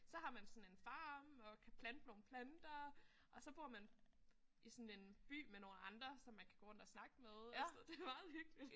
Så har man sådan en farm og kan plante nogle planter og så bor man i sådan en by med nogle andre som man kan gå rundt og snakke med og sådan noget. Det er meget hyggeligt